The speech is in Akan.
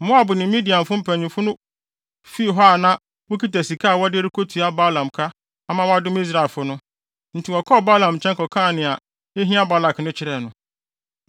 Moab ne Midian mpanyimfo no fii hɔ a na wokita sika a wɔde rekotua Balaam ka ama wadome Israelfo no. Enti wɔkɔɔ Balaam nkyɛn kɔkaa nea ehia Balak no kyerɛɛ no.